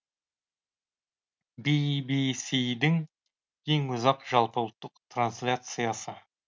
би би си дің ең ұзақ жалпы ұлттық трансляциясы